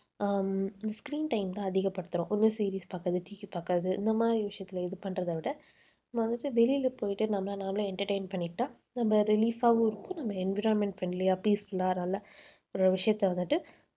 ஹம் screen time தான் அதிகப்படுத்தறோம். ஒண்ணு series பார்க்கறது TV பார்க்கறது இந்த மாதிரி விஷயத்தில இது பண்றதை விட நம்ம வந்துட்டு வெளியில போயிட்டு நம்மளை நாமளே entertain பண்ணிக்கிட்டா நம்ம relief ஆவும் இருக்கும் நம்ம environment friendly யா peaceful ஆ நல்ல ஒரு விஷயத்தை வந்துட்டு